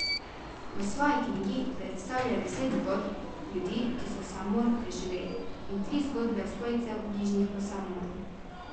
V svoji knjigi predstavlja deset zgodb ljudi, ki so samomor preživeli, in tri zgodbe svojcev, bližnjih po samomoru.